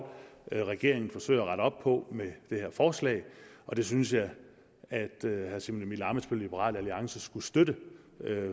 regeringen forsøger at rette op på med det her forslag og det synes jeg herre simon emil ammitzbøll liberal alliance skulle støtte